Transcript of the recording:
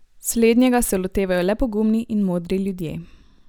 Slednjega se lotevajo le pogumni in modri ljudje.